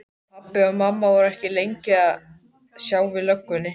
Pabbi og mamma voru ekki lengi að sjá við löggunni.